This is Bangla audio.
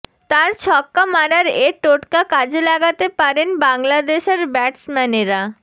তাঁর ছক্কা মারার এ টোটকা কাজে লাগাতে পারেন বাংলাদেশের ব্যাটসম্যানেরা